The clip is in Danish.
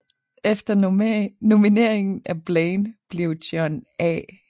Efter nomineringen af Blaine blev John A